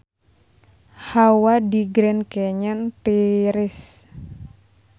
Hawa di Grand Canyon tiris